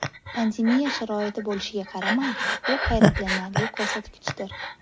Pandemiya sharoiti bo‘lishiga qaramay, bu hayratlanarli ko‘rsatgichdir.